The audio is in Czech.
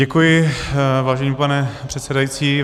Děkuji, vážený pane předsedající.